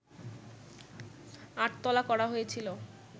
আটতলা করা হয়েছিল